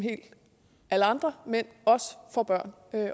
alle andre mænd også får børn